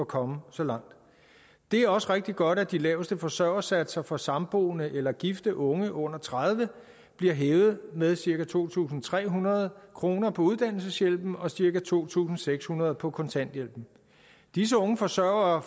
komme så langt det er også rigtig godt at de laveste forsørgersatser for samboende eller gifte unge under tredive år bliver hævet med cirka to tusind tre hundrede kroner på uddannelseshjælpen og cirka to tusind seks hundrede på kontanthjælpen disse unge forsørgere